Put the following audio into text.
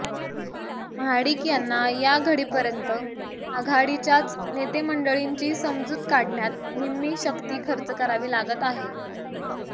महाडिक यांना या घडीपर्यंत आघाडीच्याच नेतेमंडळींची समजूत काढण्यात निम्मी शक्ती खर्च करावी लागत आहे